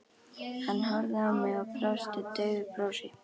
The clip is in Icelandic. Hann horfði á mig og brosti daufu brosi.